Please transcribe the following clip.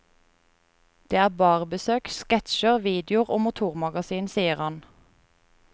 Det er barbesøk, sketsjer, videoer og motormagasin, sier han.